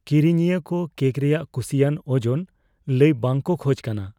ᱠᱤᱨᱤᱧᱤᱭᱟᱹ ᱠᱚ ᱠᱮᱹᱠ ᱨᱮᱭᱟᱜ ᱠᱩᱥᱤᱭᱟᱱ ᱳᱡᱳᱱ ᱞᱟᱹᱭ ᱵᱟᱝ ᱠᱚ ᱠᱷᱚᱡ ᱠᱟᱱᱟ ᱾